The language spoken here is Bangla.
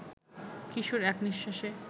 কিশোর এক নিঃশ্বাসে